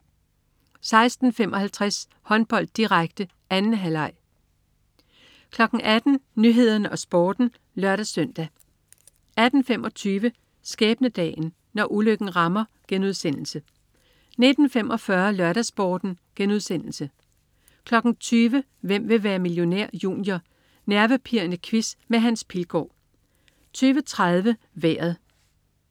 16.55 Håndbold, direkte, 2. halvleg 18.00 Nyhederne og Sporten (lør-søn) 18.25 Skæbnedagen. Når ulykken rammer* 19.45 LørdagsSporten* 20.00 Hvem vil være millionær? Junior. Nervepirrende quiz med Hans Pilgaard 20.30 Vejret